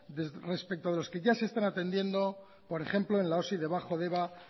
respecto de los que ya se están atendiendo por ejemplo en la osi de bajo deba